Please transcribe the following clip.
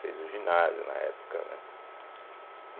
Fez o ginásio na época, né?